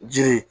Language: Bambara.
Jiri